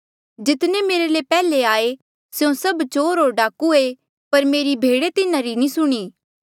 जितने मेरे ले पैहले आये स्यों सब चोर होर डाकू ऐें पर मेरी भेडे तिन्हारी नी सुणी